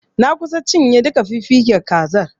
Na kusa cinye duka fiffiken kazar.